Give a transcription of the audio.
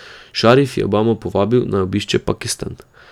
Šarif je Obamo povabil, naj obišče Pakistan.